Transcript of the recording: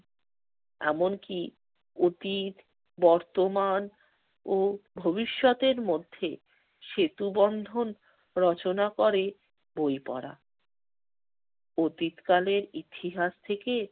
এমনকি অতীত বর্তমান ও ভবিষ্যতের মধ্যে সেতুবন্ধন রচনা করে বই পড়া। অতীতকালের ইতিহাস থেকে